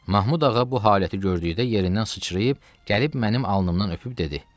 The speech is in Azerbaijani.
Mahmud ağa bu haləti gördükdə yerindən sıçrayıb gəlib mənim alnımdan öpüb dedi: